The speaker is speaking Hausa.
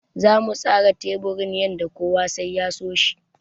Zamu tsara teburin yanda kowa sai ya so shi.